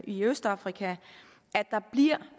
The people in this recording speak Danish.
i østafrika at der bliver